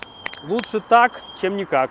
лучше так чем никак